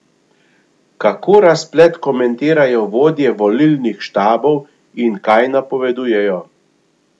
Kako razplet komentirajo vodje volilnih štabov in kaj napovedujejo?